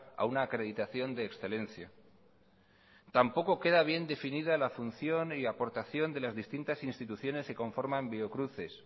a una acreditación de excelencia tampoco queda bien definida la función y aportación de las distintas instituciones que conforman biocruces